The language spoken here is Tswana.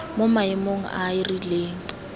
mo maemong a a rileng